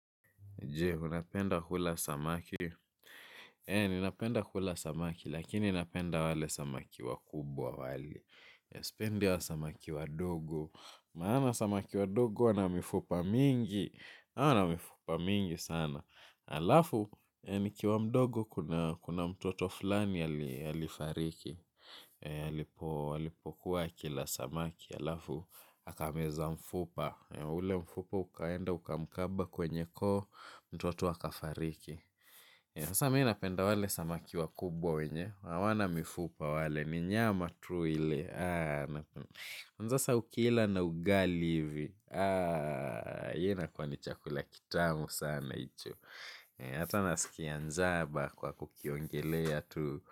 Je, unapenda kula samaki? Ninapenda kula samaki, lakini napenda wale samaki wakubwa wale. Sipendi hao samaki wadogo. Maana samaki wadogo wana mifupa mingi. Wana mifupa mingi sana. Halafu nikiwa mdogo kuna mtoto fulani alifariki. Alipokuwa akila samaki halafu akameza mfupa. Ule mfupa ukaenda ukamkaba kwenye koo mtoto akafariki. Sasa mimi napenda wale samaki wakubwa wenye hawana mifupa wale ni nyama tu ile sasa ukila na ugali hivi hiyo inakuwa ni chakula kitamu sana hicho. Hata nasikia njaa kwa kukiongelea tu.